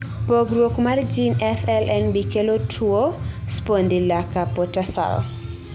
pogruok mar jin FLNB kelo tuo spondylocarpotarsal